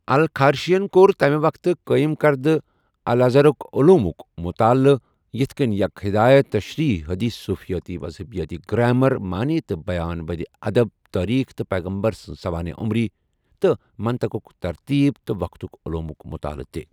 الخارشی ین کور تمہ وقتہٕ قٲیِم کردہ الازہرک علومک مطالعہ یتِھ کِن یک خدایت تشریح حدیث صوفیٲتی، مذہبیاتی، گرامر معنی تہٕ بیان بدّی ادب تاریخ تہٕ پیغمبر سنٛز سوانح عمری تہٕ منطقک ترتیب تہٕ وقتک علومک مطالعہ تہِ۔